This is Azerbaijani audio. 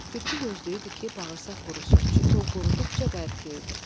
Tülkü gözləyirdi ki, bağırsaq qurusu, çünki o qurduqca bərkiyirdi.